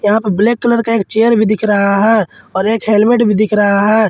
यहां पे black colour का एक चेयर भी दिख रहा है और एक हेलमेट भी दिख रहा है।